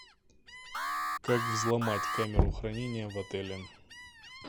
как взломать камеру хранения в отеле